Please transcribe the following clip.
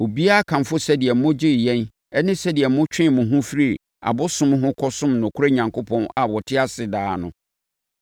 Obiara kamfo sɛdeɛ mogyee yɛn ne sɛdeɛ motwee mo ho firii abosom ho kɔsom nokorɛ Onyankopɔn a ɔte ase daa no,